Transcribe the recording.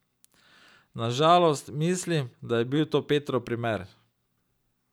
Na žalost, mislim, da je bil to Petrov primer.